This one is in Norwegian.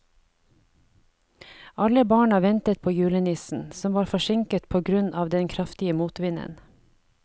Alle barna ventet på julenissen, som var forsinket på grunn av den kraftige motvinden.